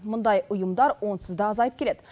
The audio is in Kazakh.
мұндай ұйымдар онсыз да азайып келеді